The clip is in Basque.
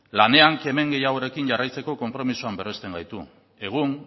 lanean kemen gehiagoarekin jarraitzeko konpromisoa berrezten gaitu egun